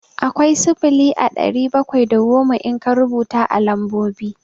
Akwai sifili a ɗari bakwai da goma in ka rubuta a lambobi.